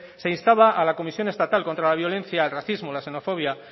se instaba a la comisión estatal contra la violencia al racismo xenofobia